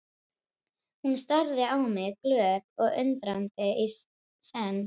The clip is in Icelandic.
Hún starði á mig glöð og undrandi í senn.